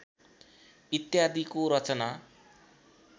इत्यादिको रचना